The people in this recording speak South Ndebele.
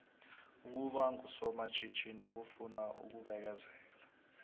ukuba ngusomatjhithini kufuna ukubekezela